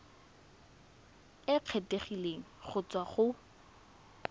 e kgethegileng go tswa go